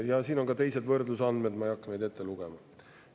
Ja siin on ka teised võrdlusandmed, ma ei hakka neid ette lugema.